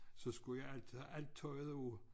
Så skulle jeg altid have alt tøjet på